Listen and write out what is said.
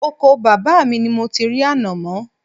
Oko bàbá mi ni mo ti rí ànàmọ́